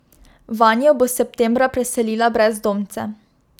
Vanjo bo septembra preselila brezdomce.